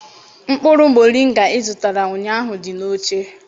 Mkpụrụ moringa ị zụtara ụnyahụ dị n'oche.